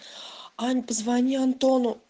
ань позвони антону